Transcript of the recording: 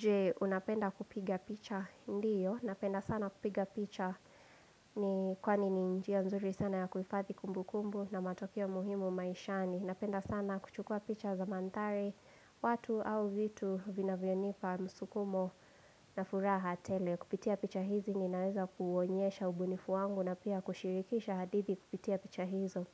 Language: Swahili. Je, unapenda kupiga picha, ndiyo, napenda sana kupiga picha ni kwani ni njia nzuri sana ya kuhifadhi kumbukumbu na matokeo muhimu maishani. Napenda sana kuchukua picha za mandhari, watu au vitu vinavyonipa msukumo na furaha tele. Kupitia picha hizi ninaweza kuwonyesha ubunifu wangu na pia kushirikisha hadithi kupitia picha hizo.